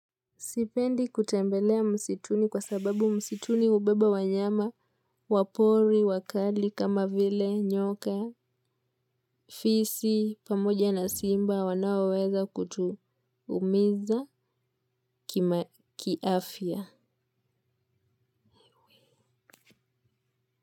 Sipendi kutembelea msituni kwa sababu msituni ubeba wanyama, wapori, wakali, kama vile, nyoka, fisi, pamoja na simba, wanaweweza kutumiza kiafia.